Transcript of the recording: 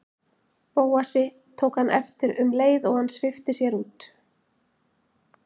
Bóasi, tók hann eftir um leið og hann svipti sér út.